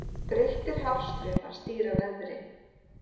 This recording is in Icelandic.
Breyttir hafstraumar stýra veðri